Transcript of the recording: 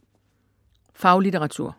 Faglitteratur